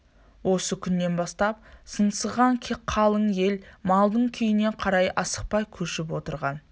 осы күннен бастап сыңсыған қалың ел малдың күйіне қарай асықпай көшіп отырған